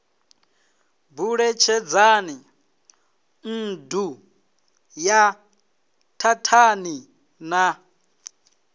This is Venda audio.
buletshedzani nṋdu ye thathani na